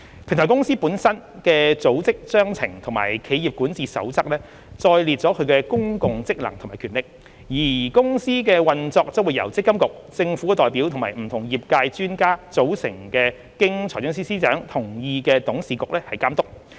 平台公司本身的《組織章程》和企業管治守則載列其公共職能及權力，而公司的運作將由積金局、政府代表及不同業界專家組成及經財政司司長同意的董事局監督。